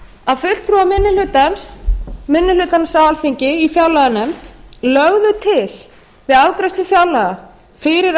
að fulltrúar minni hlutans á alþingi í fjárlaganefnd lögðu til við afgreiðslu fjárlaga fyrir